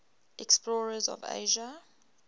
explorers of asia